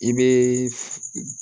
I bɛ